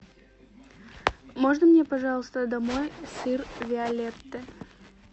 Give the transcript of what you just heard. можно мне пожалуйста домой сыр виолетте